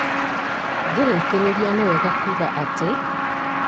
ngĩrĩkĩrĩria nĩwega kuuga atĩ